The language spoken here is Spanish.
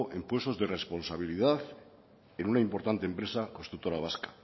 en puestos de responsabilidad en una importante empresa constructora vasca